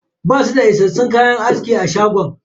Basu da issassun kayan aski a shagon.